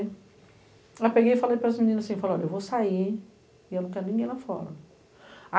Aí, eu peguei e falei para as meninas assim, eu vou sair e eu não quero ninguém lá fora.